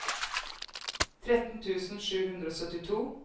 tretten tusen sju hundre og syttito